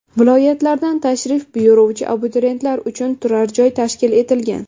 Viloyatlardan tashrif buyuruvchi abituriyentlar uchun turar-joy tashkil etilgan.